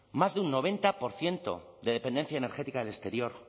más de un noventa por ciento de dependencia energética del exterior